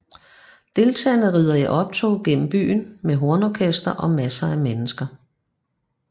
Deltagerne rider i optog gennem byen med hornorkester og masser af mennesker